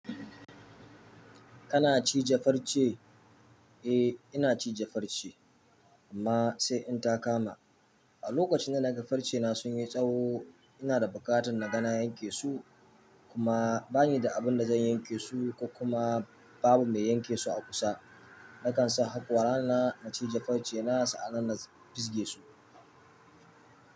Kana ci je farce? Eh, ina ci je farce amma sai in ta kama. A lokacin da naga farce na sun yi tsawo, ina da buƙatar na ga na yanke su kuma bani da abun da zan yanke su, ko kuma babu mai yanke su a kusa. Nakan sa haƙora na, na ci je farce na sa'an nan na fisge su.